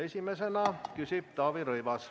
Esimesena küsib Taavi Rõivas.